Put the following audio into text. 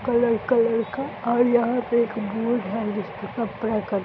colour colour का और यहाँ पे एक बोर्ड है जिसपे कपड़ा का --